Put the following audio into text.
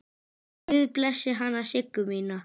Guð blessi hana Siggu mína.